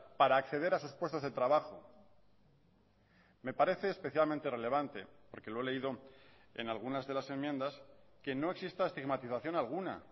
para acceder a sus puestos de trabajo me parece especialmente relevante porque lo he leído en algunas de las enmiendas que no exista estigmatización alguna